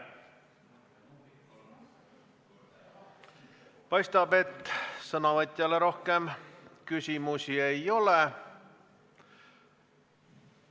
Paistab, et sõnavõtjale rohkem küsimusi ei ole.